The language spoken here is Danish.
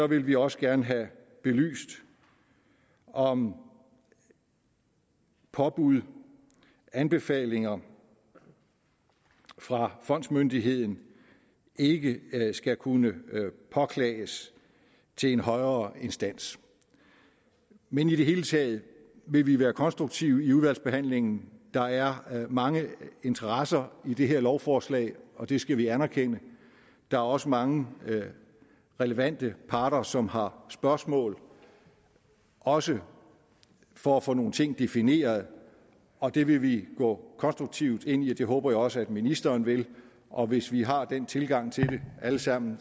vil vi også gerne have belyst om påbud anbefalinger fra fondsmyndigheden ikke skal kunne påklages til en højere instans men i det hele taget vil vi være konstruktive i udvalgsbehandlingen der er mange interesser i det her lovforslag og det skal vi anerkende der er også mange relevante parter som har spørgsmål også for at få nogle ting defineret og det vil vi gå konstruktivt ind i og det håber jeg også at ministeren vil og hvis vi har den tilgang til det alle sammen